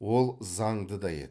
ол заңды да еді